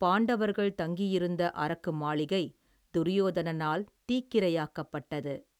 பாண்டவர்கள் தங்கியிருந்த அரக்கு மாளிகை, துரியோதனால் தீக்கிரையாக்கப்பட்டது.